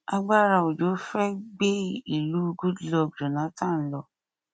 agbára òjò fẹ gbé ìlú goodluck jonathan lọ